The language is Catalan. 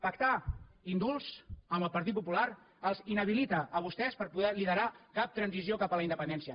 pactar indults amb el partit popular els inhabilita a vostès per poder liderar cap transició cap a la independència